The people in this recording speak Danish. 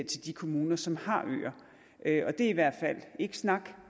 til de kommuner som har øer og det er i hvert fald ikke snak